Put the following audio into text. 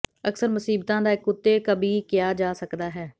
ਅਕਸਰ ਮੁਸੀਬਤਾ ਦਾ ਇੱਕ ਕੁੱਤੇ ਕਬਿ ਕਿਹਾ ਜਾ ਸਕਦਾ ਹੈ